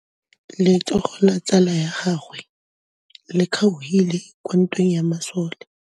Letsôgô la tsala ya gagwe le kgaogile kwa ntweng ya masole.